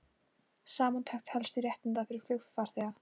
Samantekt helstu réttinda fyrir flugfarþega